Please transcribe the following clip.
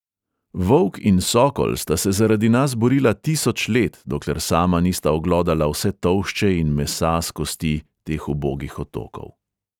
Volk in sokol sta se zaradi nas borila tisoč let, dokler sama nista oglodala vse tolšče in mesa s kosti teh ubogih otokov.